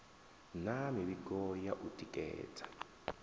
na mivhigo ya u tikedza